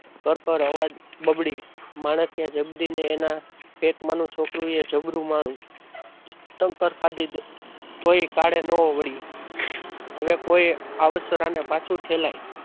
કળ કળ અવાજ બબડી માણેકે જબરીને એના પેટમાં ની છોકરીએ જબરું માળી ચક્કર ખાધી તોયે ટાળી ન મળ્યું હવે કોઈ આવસરા ને પાછું ફેલાય.